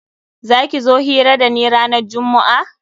Za ki zo hira da ni ranan jummu'a?